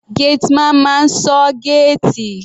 Gateman máa ń ṣọ́ géètì.